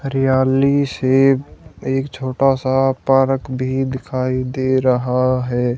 हरियाली से एक छोटा सा पारक भी दिखाई दे रहा है।